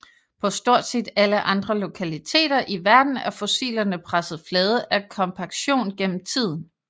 På stort set alle andre lokaliteter i verden er fossilerne presset flade af kompaktion gennem tiden